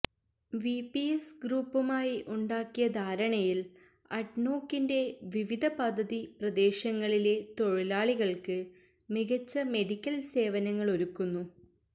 V P S ഗ്രൂപ്പുമായി ഉണ്ടാക്കിയ ധാരണയില് അഡ്നോക്കിന്റെ വിവിധ പദ്ധതി പ്രദേശങ്ങളിലെ തൊഴിലാളികള്ക്ക് മികച്ച മെഡിക്കല് സേവനങ്ങളൊരുക്കുന്നു